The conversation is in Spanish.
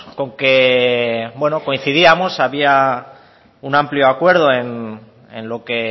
con que bueno coincidimos había un amplio acuerdo en lo que